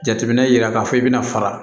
Jateminɛ yira k'a fɔ i bɛna fara